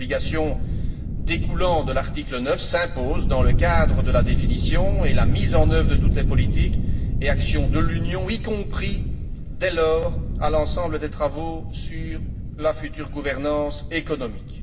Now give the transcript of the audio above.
L'obligation découlant de l'article 9 s'impose dans le cadre de la définition et de la mise en œuvre de toutes les politiques et actions de l'Union, y compris, dès lors, à l'ensemble des travaux sur la future gouvernance économique.